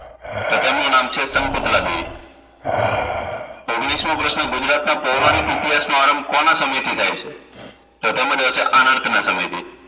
તો તેમનું નામ છે શંકુતલાદેવી ઓગણીસમો પ્રશ્ન ગુજરાતનાં પૌરાણિક ઈતિહાસના કોના સમયથી થાય છે તો તેમાં આવશે આનર્થના ના સમય છે